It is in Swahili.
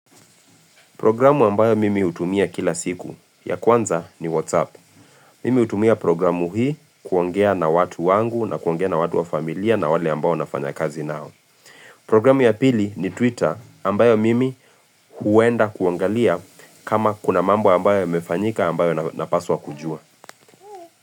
Programu ambayo mimi hutumia kila siku ya kwanza ni WhatsApp. Mimi utumia programu hii kuongea na watu wangu na kuongea na watu wa familia na wale ambayo nafanya kazi nao. Programu ya pili ni Twitter ambayo mimi huenda kuangalia kama kuna mambo ambayo imefanyika ambayo napaswa kujua.